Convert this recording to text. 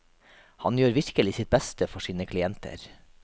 Han gjør virkelig sitt beste for sine klienter.